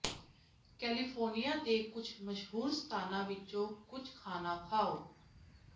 California ਦੇ ਕੁਝ ਮਸ਼ਹੂਰ ਸਥਾਨਾਂ ਵਿੱਚੋਂ ਕੁਝ ਖਾਣਾ ਖਾਓ